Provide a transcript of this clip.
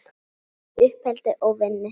Bæði í uppeldi og vinnu.